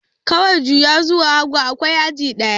Kawai juya zuwa hagu, akwai aji ɗaya.